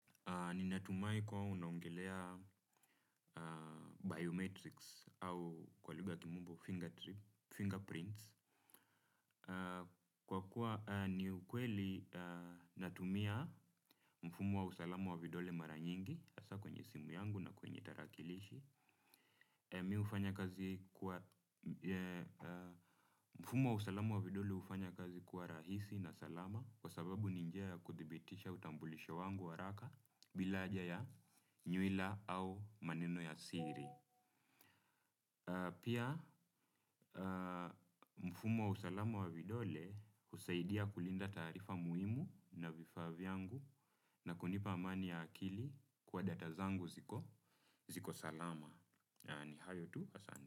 Ninatumai kuwa unaongelea biometrics au kwa lugha kimombo fingerprints. Kwa kuwa ni ukweli natumia mfumo wa usalamu wa vidole mara nyingi, hasa kwenye simu yangu na kwenye tarakilishi. Mimi hufanya kazi kwa, mfumo wa usalamu wa vidole hufanya kazi kuwa rahisi na salama, kwa sababu ni njia ya kuthibitisha utambulisho wangu haraka, bila haja ya nywila au maneno ya siri. Pia mfumo wa usalama wa vidole husaidia kulinda taarifa muhimu na vifaa vyangu. Na kunipa amani ya akili kwa data zangu ziko salama. Yani hayo tu asani.